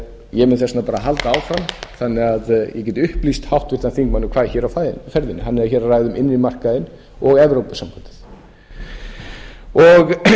ég mun þess vegna bara halda áfram þannig að ég geti upplýst háttvirtan þingmann um hvað er hér á ferðinni hann er hér að ræða um innri markaðinn og evrópusambandið hann fer